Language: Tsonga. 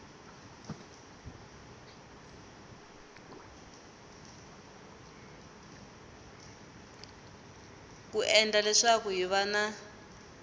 ku endla leswaku hiv na